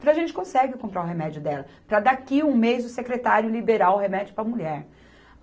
Falei, a gente consegue comprar o remédio dela, para daqui um mês o secretário liberar o remédio para a mulher.